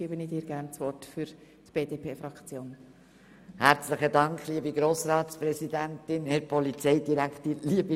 Und nun gebe ich Grossrätin Kohli das Wort für die BDP-Fraktion.